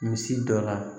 Misi dɔ la